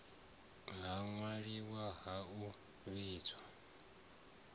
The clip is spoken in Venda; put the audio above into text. ha ṅwaliwa ha u vhidza